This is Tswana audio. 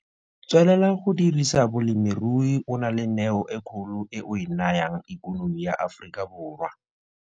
Tswelela go dirisa bolemirui o na le neo e kgolo e o e nayang ekonomi ya Afrikaborwa.